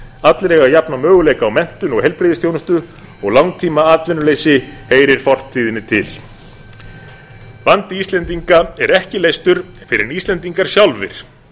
allir eiga jafna möguleika á menntun og heilbrigðisþjónustu og langtímaatvinnuleysi heyrir fortíðinni til vandi íslendinga er ekki leystur fyrr en íslendingar sjálfir